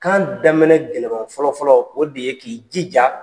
Kan daminɛ gɛlɛman fɔlɔ fɔlɔ o de ye k'i jija